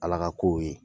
Ala ka kow ye